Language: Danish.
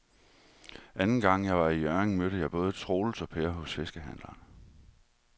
Anden gang jeg var i Hjørring, mødte jeg både Troels og Per hos fiskehandlerne.